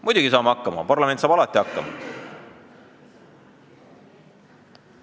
Muidugi saame hakkama, parlament saab alati hakkama.